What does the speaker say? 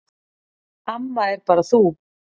Amma er bara þú.